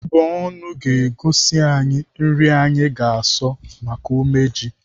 Mbọnụ ga-egosi anyị nri ndị anyị ga-asọ maka umeji.